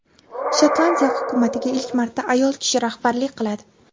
Shotlandiya hukumatiga ilk marta ayol kishi rahbarlik qiladi.